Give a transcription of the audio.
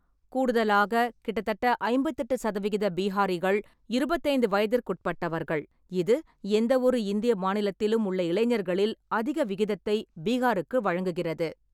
கூடுதலாக, கிட்டத்தட்ட ஐம்பத்தெட்டு சதவிகித பீஹாரிகள் இருபத்தி ஐந்து வயதிற்குட்பட்டவர்கள், இது எந்தவொரு இந்திய மாநிலத்திலும் உள்ள இளைஞர்களில் அதிக விகிதத்தை பீகாருக்கு வழங்குகிறது.